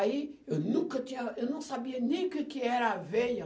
Aí, eu nunca tinha, eu não sabia nem o que que era aveia.